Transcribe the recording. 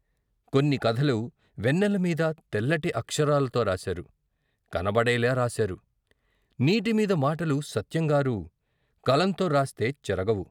కొన్ని కథలు వెన్నెల మీద తెల్లటి అక్షరాలతో రాశారు, కనబడేలా రాశారు. నీటిమీద మాటలు సత్యంగారు కలంతోరాస్తే చెరగవు.